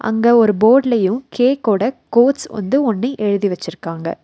அங்க ஒரு போர்டுலயு கேக்கோட கோட்ஸ் வந்து ஒன்னு எழுதி வெச்சுருக்காங்க.